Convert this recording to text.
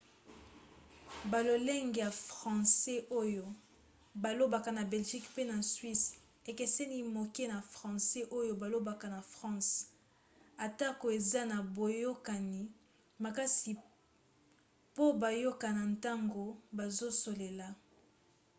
balolenge ya francais oyo balobaka na belgique pe na suisse ekeseni moke na francais oyo balobaka na france atako eza na boyokani makasi po bayokana ntango bazosolela